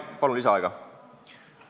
Palun lisaaega!